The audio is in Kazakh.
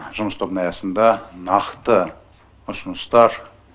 жұмыс тобының аясында нақты ұсыныстар